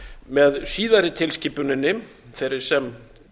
með síðari tilskipuninni þeirri sem